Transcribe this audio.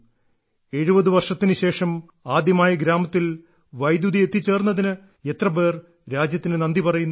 70 വർഷത്തിനുശേഷം ആദ്യമായി ഗ്രാമത്തിൽ വൈദ്യുതി എത്തിച്ചേർന്നതിന് എത്രപേർ രാജ്യത്തിന് നന്ദി പറയുന്നു